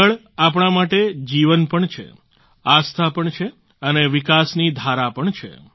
જળ આપણા માટે જીવન પણ છે આસ્થા પણ છે અને વિકાસની ધારા પણ છે